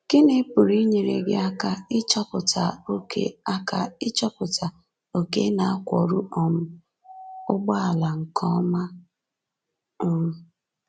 Gịnị pụrụ inyere gị aka ịchọpụta ókè aka ịchọpụta ókè ị na-akwọru um ụgbọala nke ọma? um